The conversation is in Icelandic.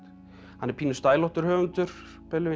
hann er pínu höfundur